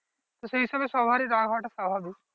তো সেই হিসাবে সবাড়ি রাগ হওয়াটা স্বাভাবিক